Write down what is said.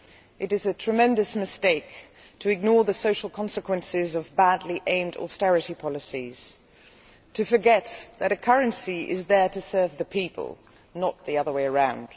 It is a tremendous mistake to ignore the social consequences of badly aimed austerity policies or to forget that a currency is there to serve the people, not the other way round.